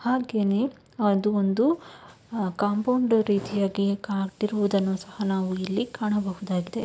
ಹಾಗೇನೇ ಅದು ಒಂದು ಕಾಂಪೌಂಡ್ ರೀತಿಯಾಗಿ ಕಾಣ್ತಿರುವುದನ್ನು ಸಹ ನಾವು ಇಲ್ಲಿ ಕಾಣಬಹುದಾಗಿದೆ .